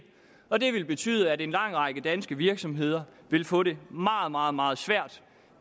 og det vil betyde at en lang række danske virksomheder vil få det meget meget meget svært